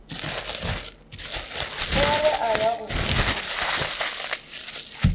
pere a ya go botšiša